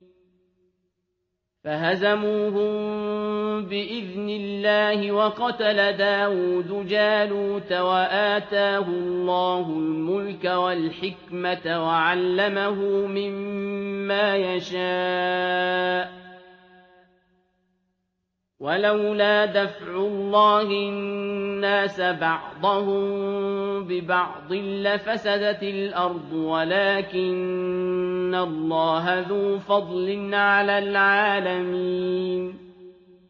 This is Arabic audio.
فَهَزَمُوهُم بِإِذْنِ اللَّهِ وَقَتَلَ دَاوُودُ جَالُوتَ وَآتَاهُ اللَّهُ الْمُلْكَ وَالْحِكْمَةَ وَعَلَّمَهُ مِمَّا يَشَاءُ ۗ وَلَوْلَا دَفْعُ اللَّهِ النَّاسَ بَعْضَهُم بِبَعْضٍ لَّفَسَدَتِ الْأَرْضُ وَلَٰكِنَّ اللَّهَ ذُو فَضْلٍ عَلَى الْعَالَمِينَ